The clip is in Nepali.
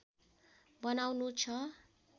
बनाउनु छ